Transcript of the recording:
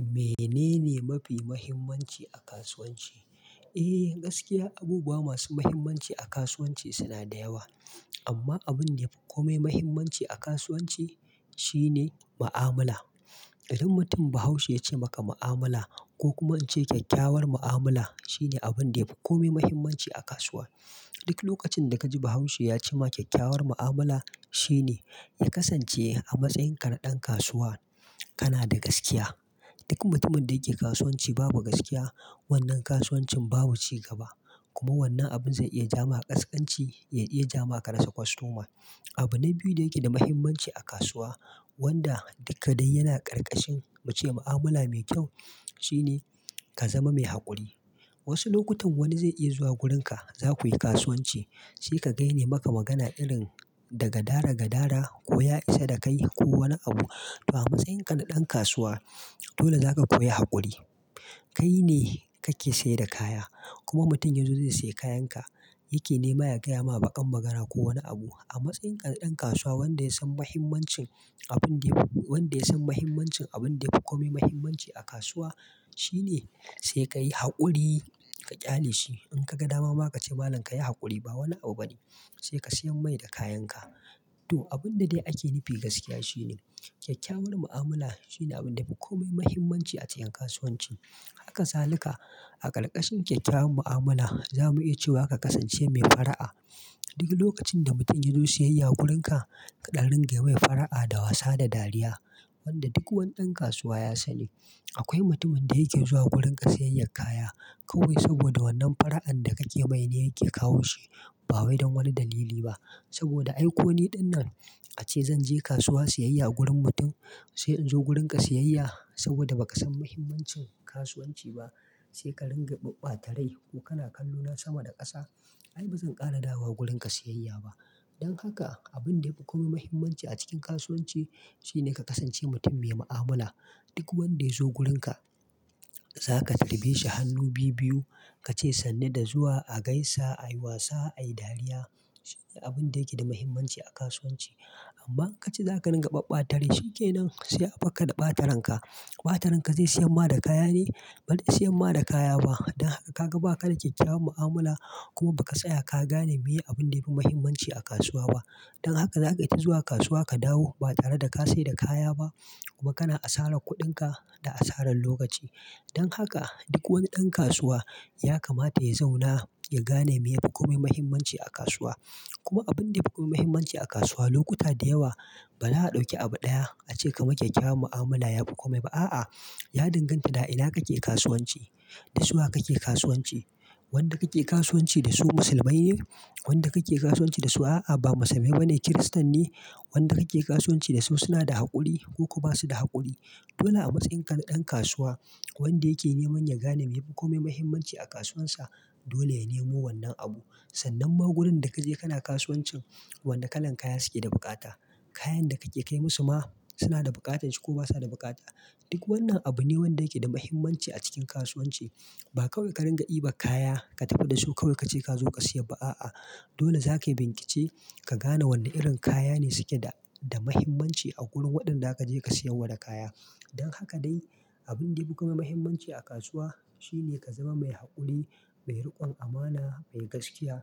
Menene mafi muhimmanci a kasuwanci? Eh gaskiya abubuwa masu muhimmanci a kasuwanci suna da yawa amma abin da ya fi kome muhimmanci a kasuwanci shine mu'amala. Idan mutum bahaushe ya ce maka mu'amala ko kuma an ce kyakkyawar mu'amala shine abin da ya fi kome muhimmanci a kasuwa. Duk lokacin da kaji bahaushe ya ce ma kyakkyawar mu'amula shine ya kasance a matsayin ka na dan kasuwa kana da gaskiya. Duk mutumin da yake kasuwanci babu gaskiya, wannan kasuwancin babu cigaba. Kuma wannan abin zai iya jama kaskanci, ya iya jama ka rasa kostoma. Abu na biyu da yake da muhimmanci a kasuwa wanda duka dai yana karkashin mu ce mu'amala mai kyau shine ka zama mai haƙuri. Wasu lokutan wani zai iya zuwa gurinka zakuyi kasuwanci sai ka ga yana maka magana irin da gadara gadara ko ya isa da kai ko wani abu. To a matsayin ka na ɗan kasuwa dole zaka koyi haƙuri. Kai ne kake sayar da kaya kuma mutum ya zo zai sayi kayan ka. Yake nema ya gaya ma baƙar magana ko wani abu. A matsayin ka na dan kasuwa wanda ya san muhimmancin abun da ya, wanda ya san muhimmancin abun da ya fi komai muhaimmanci a kasuwa shine sai kayi hakuri ka kyale shi in kaga dama ma kace malam kayi hakuri ba wani abu bane sai ka siyar mai da kayan ka to abun da dai ake nufi gaskiya shine kyakkyawar mu'amala shine abin da fi kome muhimmanci a cikin kasuwanci. Haka salika a ƙarƙashin kyakkyawar mu'amala za mu iya cewa ka kasance mai fara'a. Duk lokacin da mutum ya zo siyyaya gurin ka, ka dan dinga yi mai fara'a da wasa da dariya. Wanda duk wani ɗan kasuwa ya sani. Akwai mutumin da yake zuwa wurin ka sayayyar kaya kawai saboda wannan fara'an da kake mai ne yake kawo shi ba wai don wani dalili ba. Saboda aiko ni ɗinnan ace zan je kasuwa siyayya a gurin mutum sai in zo gurin ka siyayya saboda ba ka san mahimmancin kasuwanci ba, sai ka ringa babbatarai ko kana kallo na sama da ƙasa. Ai ba zan ƙara dawowa gurin ka siyayya ba. Don haka abin da ya fi kome muhimmanci a cikin kasuwanci shine ka kasance mutum mai mu'amala. Duk wanda ya zo gurin ka, za ka tarbe shi hannu biyu biyu, ka ce sannu da zuwa, a gaisa, a yi wasa, a yi dariya. Shine abin da yake da muhimmanci a kasuwanci. Amma ka ce za ka ringa babɓatarai shi ke nan sai a barka da ɓataran ka. Ɓataran ka zai sayan ma da kaya ne? Ba zai sayan ma da kaya ba. Don haka ka ga ba ka da kyakkyawan mu'amala, kuma ba ka tsaya ka gane meye abun da ya fi muhimmanci a kasuwa ba. Don haka za kayi ta zuwa kasuwa ka dawo ba tare da ka sayar da kaya ba kuma kana asarar kuɗin ka da asaran lokaci. Don haka duk wani ɗan kasuwa ya kamata ya zauna ya gane meye fi kome muhimmanci a kasuwa. Kuma abin da ya fi kome muhimmanci a kasuwa lokuta da yawa baza a dauki abu ɗaya a ce ka man kyakkyawan mu'amala ya fi kome. Ba a'a, ya danganta da ina kake kasuwanci, da su wa kake kasuwanci. Wanda kake kasuwanci da su musulmai ne? Wanda kake kasuwanci da su a'a ba musulmai bane, kiristan ne? Wanda kake kasuwanci da su suna da haƙuri ko kuma ba su da haƙuri? Dole a matsayin ka na ɗan kasuwa wanda yake neman ya gane me yafi kome muhimmanci a kasuwansa, dole ya nemo wannan abu. Sannan ma gurin da ka je kana kasuwancin, wane kalan kaya suke da bukata. Kayan da kake kai musu ma suna da buƙatan shi ko basa da bukata. Duk wannan abu ne wanda yake da muhimmanci a cikin kasuwanci. Ba kawai ka ringa dibar kaya ka tafi da su kawai ka ce ka zo ka sayar ba a'a. Dole za ka yi bincike ka gane wane irin kaya ne suke da mahimmanci a wurin waɗanda zaka je ka siyar wa da kaya. Don haka dai abin da yafi komai muhimmanci a kasuwa shine ka zama mai haƙuri, mai riƙon amana, mai gaskiya